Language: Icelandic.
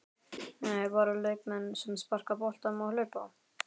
Nei, Bara leikmenn sem sparka boltanum og hlaupa?